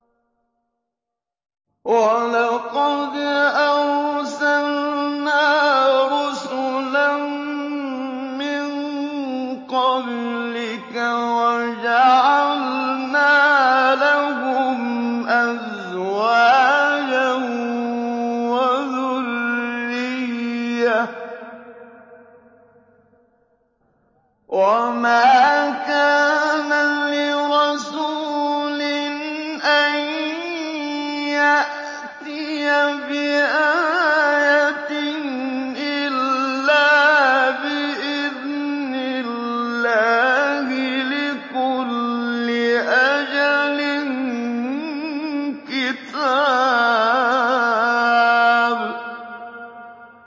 وَلَقَدْ أَرْسَلْنَا رُسُلًا مِّن قَبْلِكَ وَجَعَلْنَا لَهُمْ أَزْوَاجًا وَذُرِّيَّةً ۚ وَمَا كَانَ لِرَسُولٍ أَن يَأْتِيَ بِآيَةٍ إِلَّا بِإِذْنِ اللَّهِ ۗ لِكُلِّ أَجَلٍ كِتَابٌ